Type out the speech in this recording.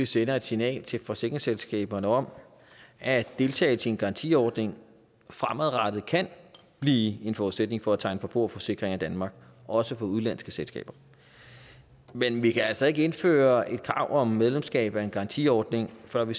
sender et signal til forsikringsselskaberne om at deltagelse i en garantiordning fremadrettet kan blive en forudsætning for at tegne forbrugerforsikringer i danmark også for udenlandske selskaber men vi kan altså ikke indføre et krav om medlemskab af en garantiordning før vi